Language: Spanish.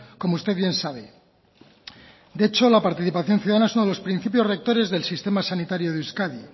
como usted bien sabe de hecho la participación ciudadana es uno de los principios rectores del sistema sanitario de euskadi